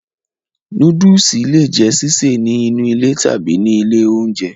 Nóódùsì le è jẹ́ sísè ní inú ilé tàbí ní ilé oúnjẹ